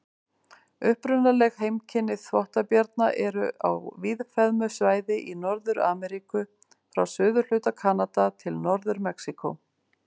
Upprunaleg heimkynni þvottabjarna eru á víðfeðmu svæði í Norður-Ameríku, frá suðurhluta Kanada til Norður-Mexíkó.